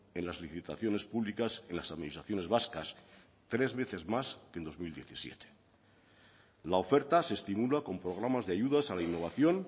en las licitaciones públicas en las administraciones vascas tres veces más que en dos mil diecisiete la oferta se estimula con programas de ayudas a la innovación